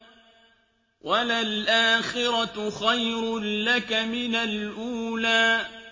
وَلَلْآخِرَةُ خَيْرٌ لَّكَ مِنَ الْأُولَىٰ